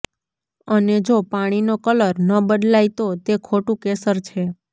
અને જો પાણીનો કલર ન બદલાય તો તે ખોટું કેસર છે